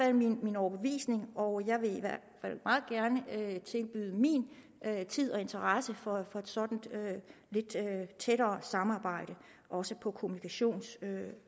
er min overbevisning og jeg vil i tilbyde min tid og interesse for et sådant lidt tættere samarbejde også på kommunikationssiden